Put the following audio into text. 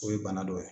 O ye bana dɔ ye